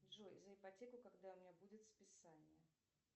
джой за ипотеку когда у меня будет списание